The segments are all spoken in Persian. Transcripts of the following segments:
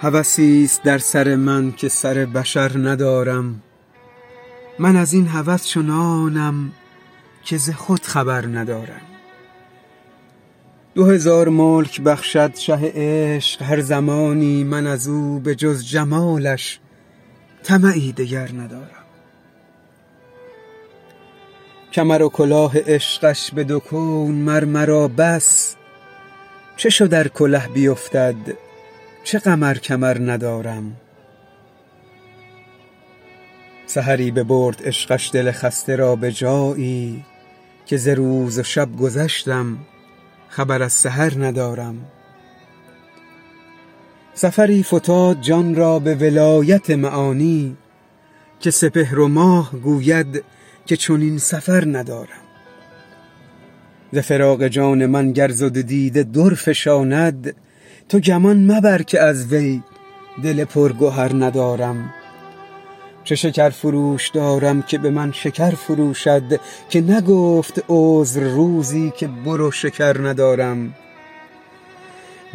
هوسی است در سر من که سر بشر ندارم من از این هوس چنانم که ز خود خبر ندارم دو هزار ملک بخشد شه عشق هر زمانی من از او به جز جمالش طمعی دگر ندارم کمر و کلاه عشقش به دو کون مر مرا بس چه شد ار کله بیفتد چه غم ار کمر ندارم سحری ببرد عشقش دل خسته را به جایی که ز روز و شب گذشتم خبر از سحر ندارم سفری فتاد جان را به ولایت معانی که سپهر و ماه گوید که چنین سفر ندارم ز فراق جان من گر ز دو دیده در فشاند تو گمان مبر که از وی دل پرگهر ندارم چه شکرفروش دارم که به من شکر فروشد که نگفت عذر روزی که برو شکر ندارم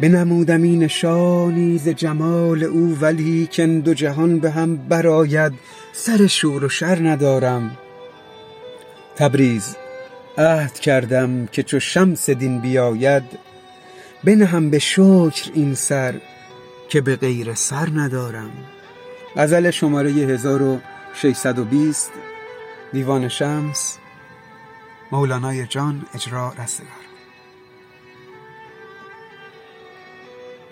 بنمودمی نشانی ز جمال او ولیکن دو جهان به هم برآید سر شور و شر ندارم تبریز عهد کردم که چو شمس دین بیاید بنهم به شکر این سر که به غیر سر ندارم